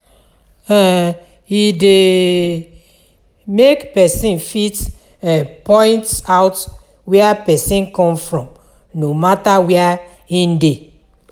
um E de make persin fit um point out where persin come from no matter where im de